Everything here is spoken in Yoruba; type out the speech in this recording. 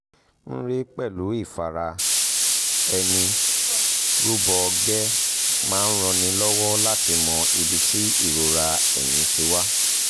mri pẹ̀lú ìfara-ẹni-rúbọ̀ ọ̀gbẹ́ máa ń ranni lọ́wọ́ láti mọ ibi tí ìrora ẹ̀yìn ti wá